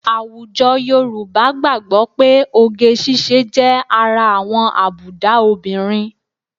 Àwùjọ Yorùbá gbàgbọ́ pé oge ṣíṣe jẹ́ ara àwọn àbùdá obìnrin